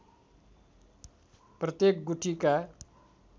प्रत्येक गुठीका